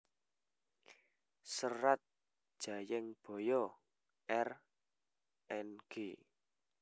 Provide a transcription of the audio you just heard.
Serat Jayengbaya R Ng